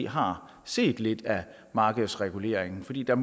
har set lidt af markedsreguleringen fordi der